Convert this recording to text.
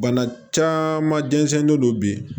Bana caman jɛnnen don bi